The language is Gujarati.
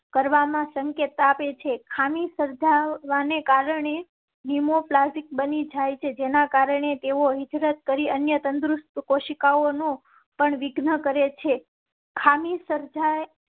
કરવામાં સંકેત આપે છે. ખામી સર્જાવા ને કારણે નિયમો ક્લાસિક બની જાય છે જેના કારણે તેઓ હિજરત કરી ને અન્ય તંદુરસ્ત કોશિકાઓ નો પણ વિઘ્ન કરેં છે. ખામી સર્જા